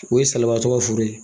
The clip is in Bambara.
O ye salabatɔ ka foro ye.